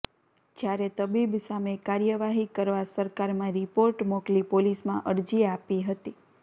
જ્યારે તબીબ સામે કાર્યવાહી કરવા સરકારમાં રિપોર્ટ મોકલી પોલીસમાં અરજી આપી હતી